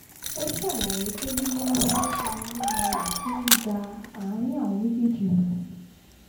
ó ṣàlàyé pé yíyáwó lemọ́lemọ́ rẹ̀ ti ń da àárín àwọn méjèèjì rú